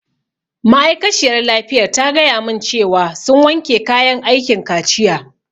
Ma'aikaciyar lafiyar ta gaya mun cewa sun wanke kayan aikin kaciya